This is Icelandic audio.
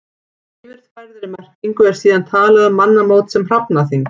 Í yfirfærðri merkingu er síðan talað um mannamót sem hrafnaþing.